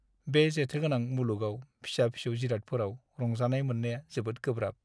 बे जेथोगोनां मुलुगाव फिसा-फिसौ जिरादफोराव रंजानाय मोननाया जोबोद गोब्राब!